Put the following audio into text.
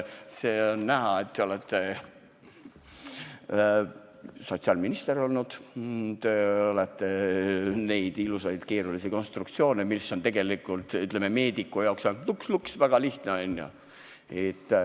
On näha, et te olete olnud sotsiaalminister, te olete näinud neid ilusaid keerulisi konstruktsioone, mis on tegelikult, ütleme, meediku jaoks ainult lups-lups, väga lihtne, on ju.